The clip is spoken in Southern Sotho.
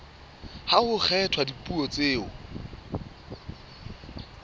ha ho kgethwa dipuo tseo